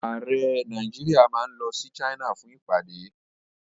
Ààrẹ Nàìjíríà máa lọ sí China fún ìpàdé.